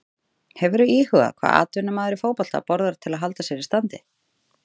Hefurðu íhugað hvað atvinnumaður í fótbolta borðar til að halda sér í standi?